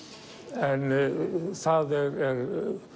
en það er